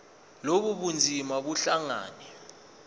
lobu bunzima buhlangane